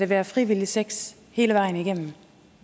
være frivillig sex hele vejen igennem